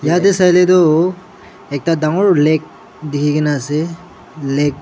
yatae sailae tu ekta dangor lake dikhina ase lake .